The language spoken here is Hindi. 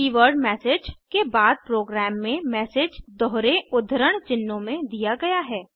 कीवर्ड मेसेज के बाद प्रोग्राम में मैसेज दोहरे उद्धरण चिन्हों में दिया गया है